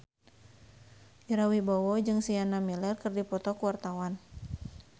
Ira Wibowo jeung Sienna Miller keur dipoto ku wartawan